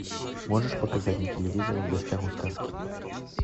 можешь показать на телевизоре в гостях у сказки